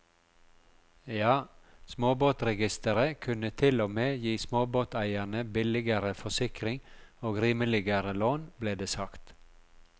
Ja, småbåtregisteret kunne til og med gi småbåteierne billigere forsikring og rimeligere lån, ble det sagt.